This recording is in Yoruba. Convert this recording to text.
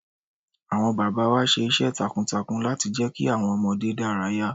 Àwọn bàbá wa ṣe iṣẹ́ takuntakun láti jẹ́ kí àwọn ọmọdé dárayá.